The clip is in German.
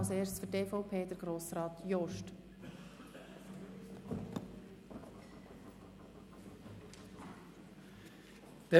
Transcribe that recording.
Als Erstes spricht Grossrat Jost für die EVP-Fraktion.